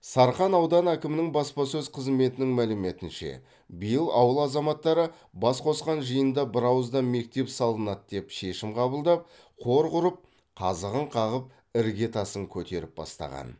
сарқан ауданы әкімінің баспасөз қызметінің мәліметінше биыл ауыл азаматтары бас қосқан жиында бірауыздан мектеп салынады деп шемім қабылдап қор құрып қазығын қағып ірге тасын көтеріп бастаған